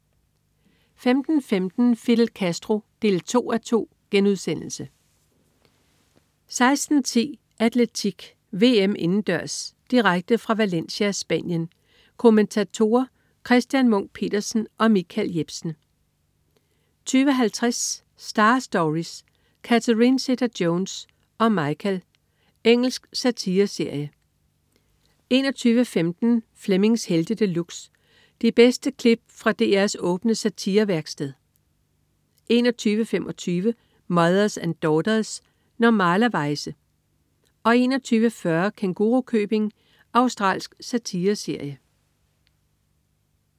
15.15 Fidel Castro 2:2* 16.10 Atletik: VM indendørs. Direkte fra Valencia, Spanien. Kommentatorer: Christian Munk Petersen og Michael Jepsen 20.50 Star Stories: Catherine Zeta-Jones og Michael. Engelsk satireserie 21.15 Flemmings Helte De Luxe. De bedste klip fra DRs åbne satirevæksted 21.25 Mothers and Daughters. Normalerweize 21.40 Kængurukøbing. Australsk satireserie